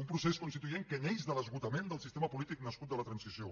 un procés constituent que neix de l’esgotament del sistema polític nascut de la transició